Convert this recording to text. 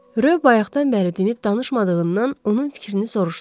Röv bayaqdan bəri dinib danışmadığından onun fikrini soruşdu.